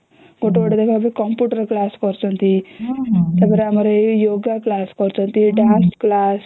ଗୋଟେ ଗୋଟେ ଦେଖା ଏବେ computer class କରୁଛନ୍ତି ତା ପରେ Yoga class କରୁଛନ୍ତି dance କ୍ଲାସ